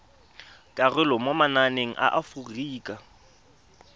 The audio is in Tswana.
karolo mo mananeng a aforika